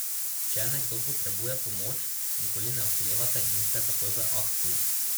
Če nekdo potrebuje pomoč, nikoli ne oklevate in ste takoj v akciji.